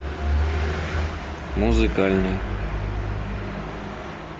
музыкальный